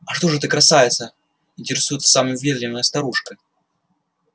а что же ты красавица интересуется самая въедливая старушка